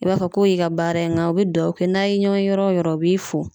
I b'a fɔ k'o y'i ka baara ye ŋa u be duwawu kɛ n'a' ye ɲɔɔn ye yɔrɔ o yɔrɔ u b'i fo.